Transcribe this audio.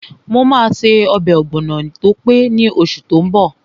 Mo máa ṣe ọbẹ̀ ọ̀gbọ̀nọ̀ tó pé ní oṣù tó n bọ̀